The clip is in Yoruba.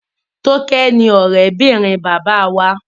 Toke ní òré bìrìn Bàbá wá.